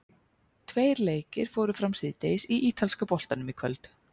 Tveir leikir fóru fram síðdegis í ítalska boltanum í kvöld.